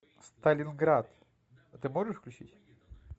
сталинград ты можешь включить